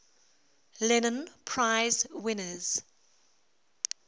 lenin prize winners